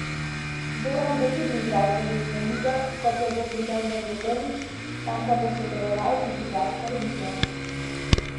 Zoran bo tudi igral poletno ligo, kot jo bo pri Denverju Omić, tam pa bo sodeloval tudi Gašper Vidmar.